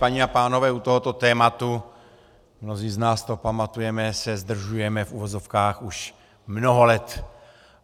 Paní a pánové, u tohoto tématu, mnozí z nás to pamatujeme, se zdržujeme, v uvozovkách, už mnoho let.